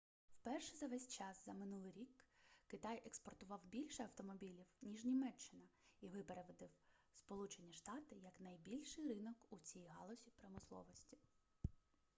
вперше за весь час за минулий рік китай експортував більше автомобілів ніж німеччина і випередив сполучені штати як найбільший ринок у цій галузі промисловості